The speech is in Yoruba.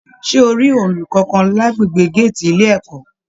Ṣe o rí ọọlú kánkán l'agbègbè gàátí ilé ẹ̀kọ́?